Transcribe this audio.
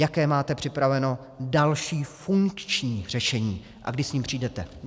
Jaké máte připravené další funkční řešení a kdy s ním přijdete?